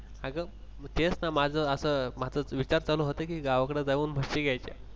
अग तेच ना माझ असा माझा विचार होता गावाकडे जाऊन म्हशी घ्यायच्या.